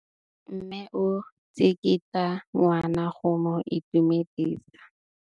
Mme o tsikitla ngwana go mo itumedisa.